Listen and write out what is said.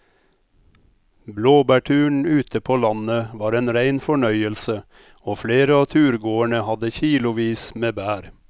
Blåbærturen ute på landet var en rein fornøyelse og flere av turgåerene hadde kilosvis med bær.